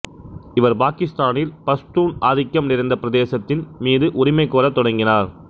இவர் பாகித்தானில் பஷ்தூன் ஆதிக்கம் நிறைந்த பிரதேசத்தின் மீது உரிமை கோரத் தொடங்கினார்